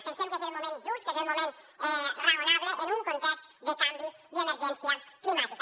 pensem que és el moment just que és el moment raonable en un context de canvi i emergència climàtica